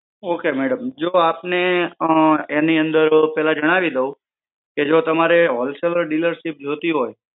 Okay madam. જો આપને એની અંદર પહેલા જણાવી દઉં. કે જો તમારે wholesaler dealership જોઈતી હોય,